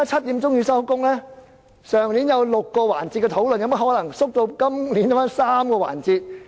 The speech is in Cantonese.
去年有6個辯論環節，今年有甚麼可能縮減至3個環節？